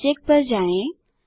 object पर जाएँ